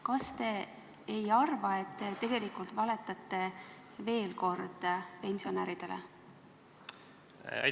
Kas te ei arva, et te tegelikult veel kord pensionäridele valetate?